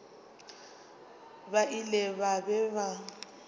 ba ile ba be ba